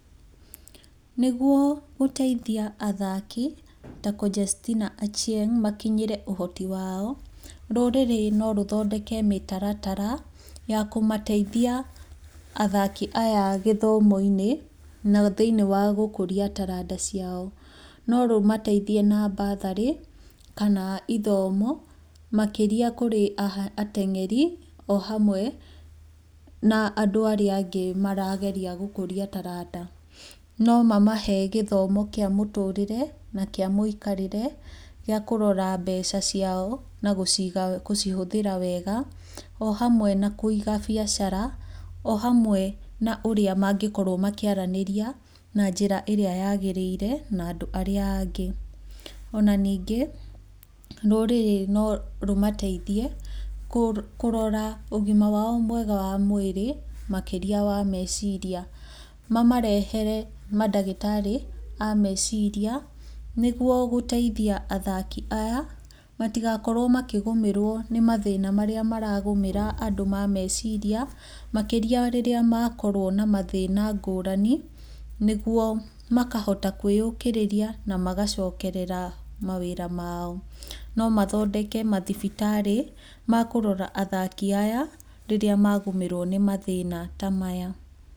Nĩguo gũteithia athaki ta Conjestina Achieng makinyĩre ũhoti wao, rũrĩrĩ no rũthondeke mĩtaratara ya kũmateithia athaki aya gĩthomo-inĩ na thĩiniĩ wa gũkũria taranda ciao, no rũmateithie na mbatharĩ kana ithomo makĩria kũrĩ ateng'eri ohamwe na andũ arĩa angĩ marageria gũkũria taranda. No mamahe gĩthomo kĩa mũtũrĩre na kĩa mũikarĩre gĩakũrora mbeca ciao na gũcihũthĩra wega, ohamwe na kũiga biacara ohamwe na ũrĩa mangĩkorwo makĩaranĩria na njĩra ĩrĩa yagĩrĩire na andũ arĩa angĩ. Ona ningĩ rũrĩrĩ no rũmateithie kũrora ũgima wao mwega wa mwĩrĩ makĩria wa meciria, mamarehere mandagĩtarĩ a meciria, nĩguo gũteithia athaki aya matigakorwo makĩgũmĩrwo nĩ mathĩna marĩa maragũmĩra andũ ma meciria makĩria rĩrĩa makorwo na mathĩna ngũrani, nĩguo makahota kwĩyũkĩrĩria na magacokerera mawĩra mao. No mathondeke mathibitarĩ makũrora athaki aya, rĩrĩa magũmĩrwo nĩ mathĩna ta maya.